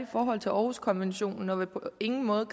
forhold til århuskonventionen og på ingen måde